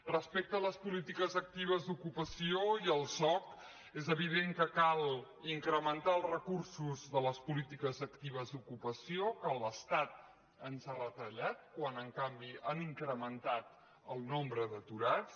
respecte a les polítiques actives d’ocupació i al soc és evident que cal incrementar els recursos de les po·lítiques actives d’ocupació que l’estat ens ha retallat quan en canvi s’ha incrementat el nombre d’aturats